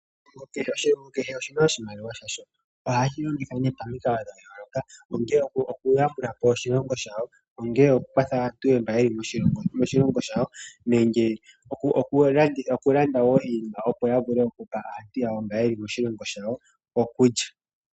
Oshilongo kehe oshi na oshimaliwa shasho. Ohayi shi longitha pamikalo dha yooloka, ongele okuyambula po oshilongo shawo, ongele okukwatha aantu mboka ye li moshilongo shawo, nenge okulanda iinima opo ya vule okupa aantu yawo mboka ye li moshilongo shawo okulya.